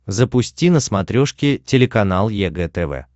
запусти на смотрешке телеканал егэ тв